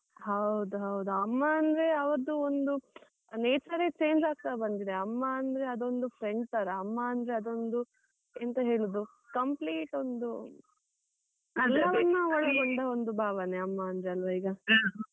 ಹೌದು ಹೌದು ಅಮ್ಮ ಅಂದ್ರೆ ಅವರದ್ದು ಒಂದು nature change ಆಗ್ತಾ ಬಂದಿದೆ ಅಮ್ಮ ಅಂದ್ರೆ ಅದೊಂದು friend ತರ, ಅಮ್ಮ ಅಂದ್ರೆ ಅದೊಂದು ಎಂತ ಹೇಳೋದು complete ಒಂದು ಎಲ್ಲವನ್ನು ಒಳಗೊಂಡ ಒಂದು ಭಾವನೆ ಅಮ್ಮ ಅಂದ್ರೆ ಅಲ್ವ ಈಗ.